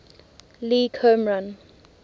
league home run